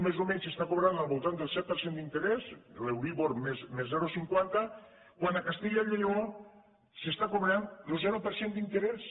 més o menys s’està cobrant al voltant del set per cent d’interès l’euríbor més zero coma cinquanta quan a castellà i lleó s’està cobrant lo zero per cent d’interès